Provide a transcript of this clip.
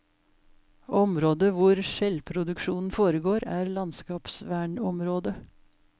Området hvor skjellproduksjonen foregår, er landskapsvernområde.